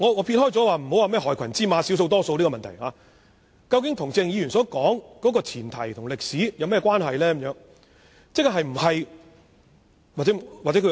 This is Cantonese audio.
撇開涉及害群之馬、少數或多數警員的問題不說，究竟這些事件與鄭議員所說的前提及歷史有何關係？